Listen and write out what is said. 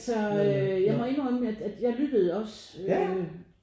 Altså øh jeg må indrømme at at jeg lyttede også øh